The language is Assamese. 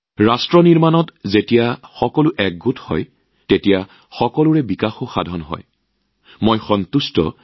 দেশ নিৰ্মাণ প্ৰক্ৰিয়াত সকলোৰে সহায় লৈহে সামূহিক বিকাশ সম্ভৱ